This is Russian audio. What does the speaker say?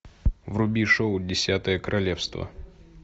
вруби шоу десятое королевство